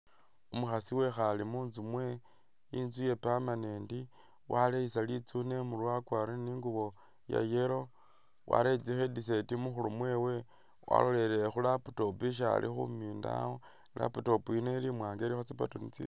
Umukhaasi wekhale munzu mwewe ,inzu ye permanent ,waleyisa litsune imurwe wakwarire ni ingubo iya yellow. Warere tsi headset mukhuru mwewe ,walolelele khu laptop isi ali khumina awo ,i'laptop yino ili imwanga ilikho tsi button tsi ?